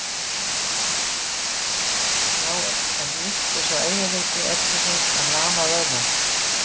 Þá er nýttur sá eiginleiki efnisins að lama vöðva.